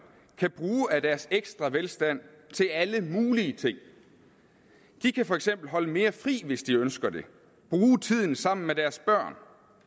kan bruge af deres ekstra velstand til alle mulige ting de kan for eksempel holde mere fri hvis de ønsker det bruge tiden sammen med deres børn